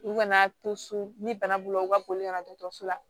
U kana to so ni bana b'u la u ka boli ka na dɔgɔtɔrɔso la